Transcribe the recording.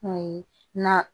Kun ye na